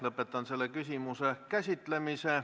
Lõpetan selle küsimuse käsitlemise.